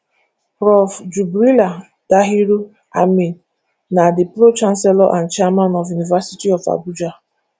prof jubrila dahiru amin na di pro chancellor and chairman of university of abuja